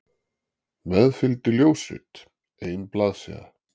Með fylgdi ljósrit, ein blaðsíða.